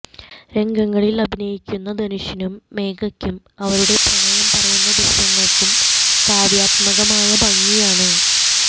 രംഗങ്ങളിൽ അഭിനയിക്കുന്ന ധനുഷിനും മേഘയ്ക്കും അവരുടെ പ്രണയം പറയുന്ന ദൃശ്യങ്ങൾക്കും കാവ്യാത്കമായ ഭംഗിയാണ്